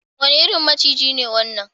Wane irin maciji ne wannan?